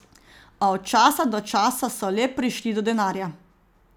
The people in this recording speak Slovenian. A od časa do časa so le prišli do denarja.